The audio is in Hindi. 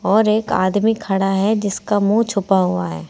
और एक आदमी खड़ा है जिसका मुंह छुपा हुआ है।